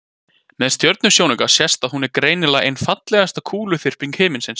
með stjörnusjónauka sést að hún er greinilega ein fallegasta kúluþyrping himinsins